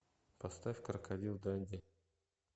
поставь крокодил данди